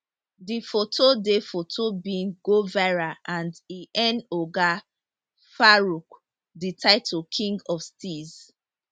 di foto di foto bin go viral and e earn oga farooq di title king of steeze